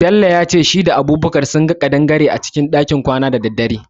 Bello yace shi da Abubakar sunga kadangare a cikin kwana da daddare.